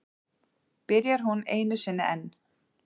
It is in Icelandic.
Byrjar hún einu sinni enn.